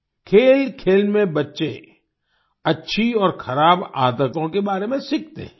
खेलखेल में बच्चे अच्छी और ख़राब आदतों के बारे में सीखते हैं